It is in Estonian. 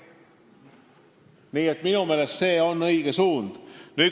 Nii et minu meelest on see õige suund.